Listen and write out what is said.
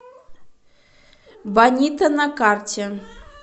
бонита на карте